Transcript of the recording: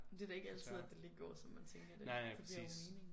Men det da ikke altid at det lige går som man tænker det det giver jo mening